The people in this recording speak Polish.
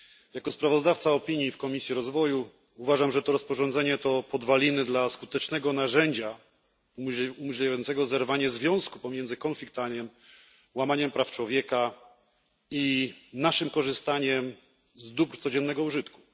Jako sprawozdawca opinii w Komisji Rozwoju uważam, że rozporządzenie to stanowi podwaliny dla skutecznego narzędzia umożliwiającego zerwanie związku pomiędzy konfliktami, łamaniem praw człowieka i naszym korzystaniem z dóbr codziennego użytku.